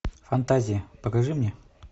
фантазии покажи мне